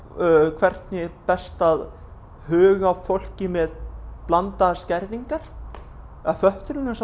hvernig er best að huga að fólki með blandaðar skerðingar eða fötlun og